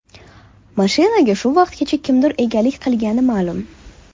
Mashinaga shu vaqtgacha kimlar egalik qilgani ma’lum.